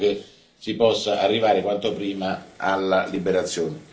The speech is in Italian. Mi auguro che si possa arrivare quanto prima alla loro liberazione.